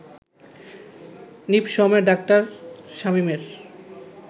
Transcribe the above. নিপসমে ডা. শামীমের